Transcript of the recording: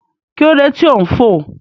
Kí ló dé tí ò ń fò?